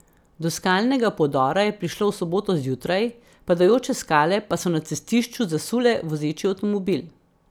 Do skalnega podora je prišlo v soboto zjutraj, padajoče skale pa so na cestišču zasule vozeči avtomobil.